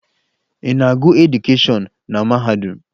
Ị na-agụ edukeshọn na mahadum?